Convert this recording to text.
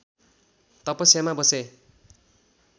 तपस्यामा बसे